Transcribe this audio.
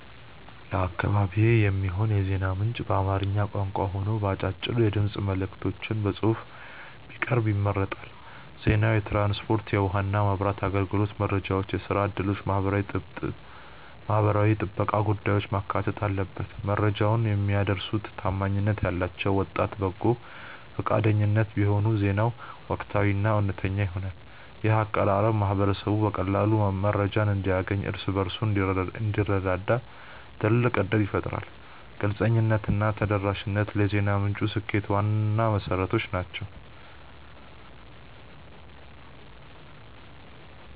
ለአካባቢዬ የሚሆን የዜና ምንጭ በአማርኛ ቋንቋ ሆኖ በአጫጭር የድምፅ መልዕክቶችና በጽሑፍ ቢቀርብ ይመረጣል። ዜናው የትራንስፖርት፣ የውኃና መብራት አገልግሎት መረጃዎችን፣ የሥራ ዕድሎችንና የማኅበራዊ ጥበቃ ጉዳዮችን ማካተት አለበት። መረጃውን የሚያደርሱት ታማኝነት ያላቸው ወጣት በጎ ፈቃደኞች ቢሆኑ ዜናው ወቅታዊና እውነተኛ ይሆናል። ይህ አቀራረብ ማኅበረሰቡ በቀላሉ መረጃ እንዲያገኝና እርስ በርሱ እንዲረዳዳ ትልቅ ዕድል ይፈጥራል። ግልጽነትና ተደራሽነት ለዜና ምንጩ ስኬት ዋና መሠረቶች ናቸው።